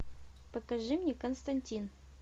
покажи мне константин